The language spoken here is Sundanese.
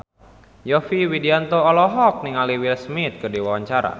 Yovie Widianto olohok ningali Will Smith keur diwawancara